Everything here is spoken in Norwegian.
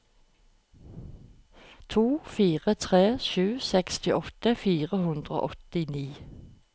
to fire tre sju sekstiåtte fire hundre og åttini